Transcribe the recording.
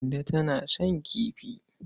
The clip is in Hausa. Kande tana son kifi.